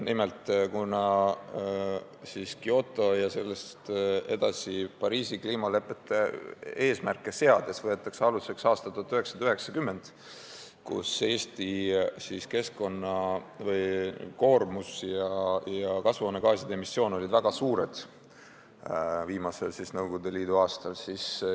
Nimelt, Kyoto ja sellest edasi Pariisi kliimaleppe eesmärke seades võetakse aluseks aasta 1990, viimane Nõukogude Liidu aasta, kui Eesti keskkonnakoormus ja kasvuhoonegaaside emissioon olid väga suured.